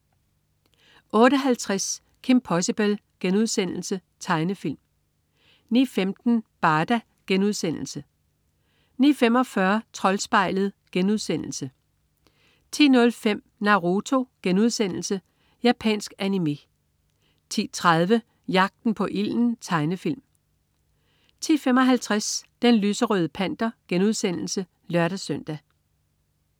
08.50 Kim Possible.* Tegnefilm 09.15 Barda* 09.45 Troldspejlet* 10.05 Naruto.* Japansk animé 10.30 Jagten på ilden. Tegnefilm 10.55 Den lyserøde Panter* (lør-søn)